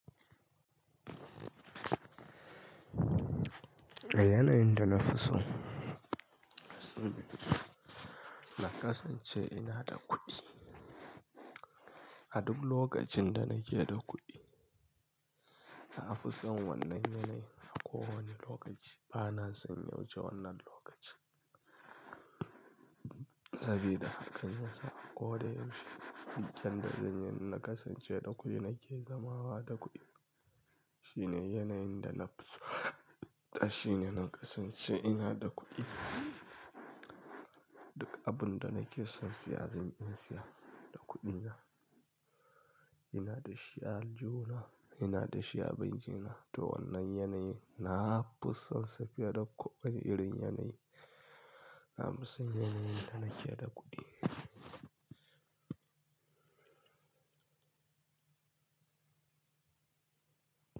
Yanayin da na fi so, na kasance ina da kuɗi. A duk lokacin da nake da kuɗi, na fi son wannan yanayi a kowane lokaci. Bana son yawuce wannan lokaci sabida hakan ya sa a ko da yaushe, duk yanda zan yi na kasance da kuɗi nake zamawa da kuɗi. Shine yanayin da na fi so, shine na kasance ina da kuɗi. Duk abun da nake son siya zan iya siya da kuɗina. Ina da shi aljihu na, ina da shi a banki na. To wannan yanayin na fi son sa fiye da kowane irin yanayi. Na fi son yanayin da nake da kuɗi.